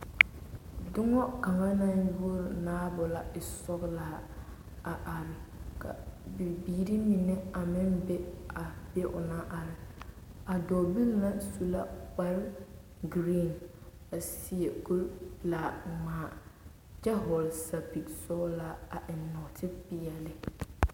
Doŋa kaŋa naŋ woro naabo la e sɔgelaa a are ka bibiiri mine a meŋ be a be o naŋ are, a dɔɔbili na su la kpare giriin a seɛ kuri pelaa ŋmaa kyɛ hɔɔle sapigi sɔɔlaa a eŋ nɔɔtepeɛle.